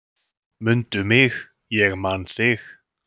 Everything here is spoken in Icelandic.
"""Mundu mig, ég man þig."""